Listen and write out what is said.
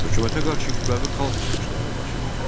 Hökumətə qarşı kütləvi xalq çıxışları baş verdi.